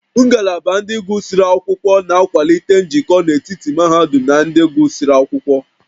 Ngalaba ndị gụsịrị akwụkwọ na-akwalite njikọ n'etiti mahadum na ndị gụsịrị akwụkwọ